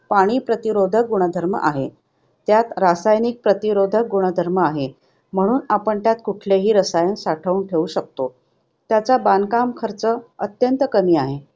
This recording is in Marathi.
पाणी-प्रतिरोधक गुणधर्म आहे. त्यात रासायनिक प्रतिरोधक गुणधर्म आहे, म्हणून आपण त्यात कोणतेही रसायन साठवून ठेवू शकतो. त्याचा बांधकाम खर्च अत्यंत कमी आहे.